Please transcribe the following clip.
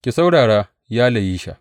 Ki saurara, ya Layisha!